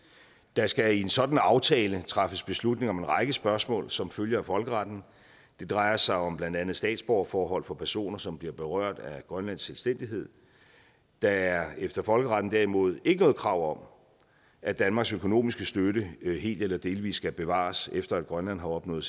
der skal i en sådan aftale træffes beslutning om en række spørgsmål som følge af folkeretten det drejer sig om blandt andet statsborgerforhold for personer som bliver berørt af grønlands selvstændighed der er efter folkeretten derimod ikke noget krav om at danmarks økonomiske støtte helt eller delvis skal bevares efter at grønland har opnået